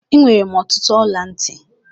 Enwere m ọtụtụ ọla ntị.